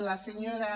la senyora